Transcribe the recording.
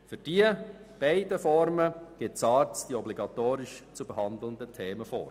Für beide Formen gibt die SARZ die obligatorisch zu behandelnden Themen vor.